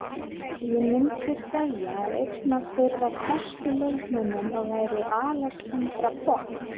Ég myndi segja að einn af þeirra bestu leikmönnum væri Alexandra Popp.